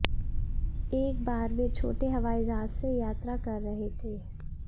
एक बार वे छोटे हवाई जहाज से यात्रा कर रहे थे